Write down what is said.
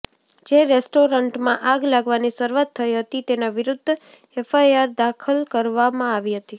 જે રેસ્ટોરન્ટમાં આગ લાગવાની શરૂઆત થઈ હતી તેના વિરુદ્ધ એફઆઇઆર દાખલ કરવામાં આવી હતી